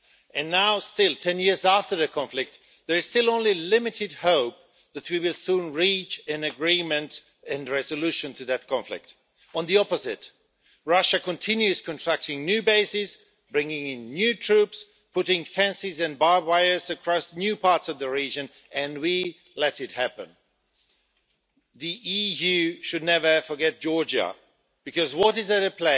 And now, ten years after the conflict, there is still only limited hope that we will soon reach an agreement and a resolution to that conflict. Quite the opposite Russia continues contracting new bases, bringing in new troops, putting fences and barbed wire across new parts of the region, and we let it happen. The EU should never forget Georgia, because what is at stake